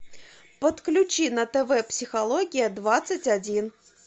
подключи на тв психология двадцать один